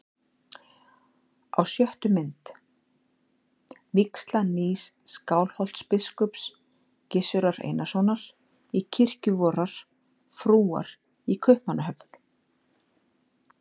Á sjöttu mynd: vígsla nýs Skálholtsbiskups, Gizurar Einarssonar, í kirkju vorrar frúar í Kaupmannahöfn.